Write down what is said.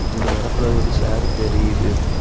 அந்த வரப்புல ஒரு சேர் தெரியுது.